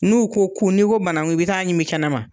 N'u ko ku ni ko bananku i bi taa ɲimi kɛnɛma